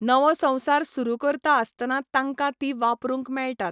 नवो संवसार सुरू करता आसतना तांकां तीं वापरूंक मेळटात.